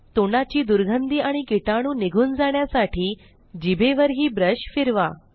तोंडाची दुर्गंधी आणि कीटाणू निघून जाण्यासाठी जीभेवरही ब्रश फिरवा